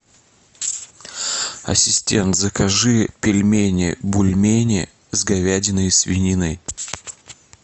ассистент закажи пельмени бульмени с говядиной и свининой